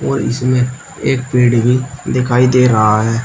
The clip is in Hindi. और इसमें एक पेड़ भी दिखाई दे रहा है।